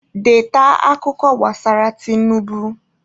Deeta akụkọ gbasara Tinubu!